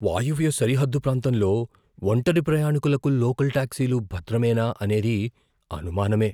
వాయువ్య సరిహద్దు ప్రాంతంలో ఒంటరి ప్రయాణికులకు లోకల్ టాక్సీలు భద్రమేనా అనేది అనుమానమే.